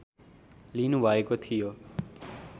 लिनुभएको थियो